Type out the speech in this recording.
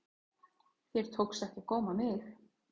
Þér tókst ekki að góma mig.